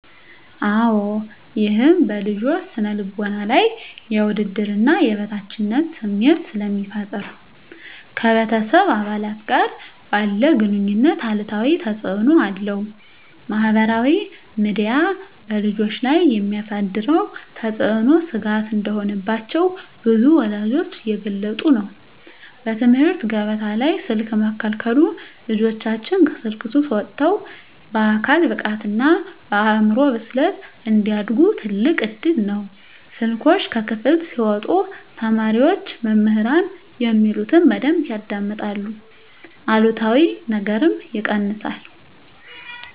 -አወ ይህም በልጆች ስነ ልቦና ላይ የውድድርና የበታችነት ስሜት ስለሚፈጠር ... ከቤተሰብ አባላት ጋር ባለ ግኑኝነት አሉታዊ ተፅእኖ አለው። -ማኅበራዊ ሚዲያ በልጆች ላይ የሚያሳድረው ተጽዕኖ ስጋት እንደሆነባቸው ብዙ ወላጆች እየገለጹ ነው። -በትምህርት ገበታ ላይ ስልክ መከልከሉ ልጆቻችን ከስልክ ሱስ ወጥተው በአካል ብቃትና በአእምሮ ብስለት እንዲያድጉ ትልቅ እድል ነው። ስልኮች ከክፍል ሲወጡ ተማሪዎች መምህራን የሚሉትን በደንብ ያዳምጣሉ አሉታዊ ነገርም ይቀንሳል።